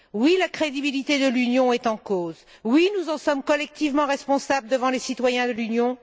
Oui, la crédibilité de l'Union est en cause. Oui, nous en sommes collectivement responsables devant les citoyens de l'Union.